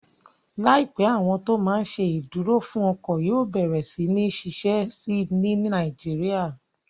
Láìpẹ́, àwọn tó máa n ṣe ìdúró fún ọkọ̀ yóò bẹ̀rẹ̀ sí ní ṣiṣẹ́ síi ní Nàìjíríyà